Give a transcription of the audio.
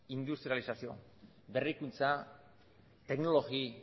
industrializazio berrikuntza teknologi